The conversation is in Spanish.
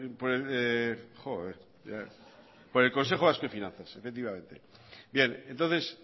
finanzas efectivamente bien entonces